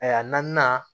Ayiwa naaninan